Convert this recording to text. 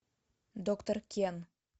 доктор кен